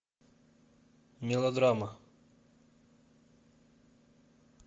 мелодрама